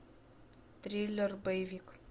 триллер боевик